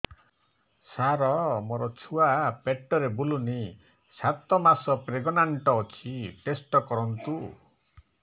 ସାର ମୋର ଛୁଆ ପେଟରେ ବୁଲୁନି ସାତ ମାସ ପ୍ରେଗନାଂଟ ଅଛି ଟେଷ୍ଟ କରନ୍ତୁ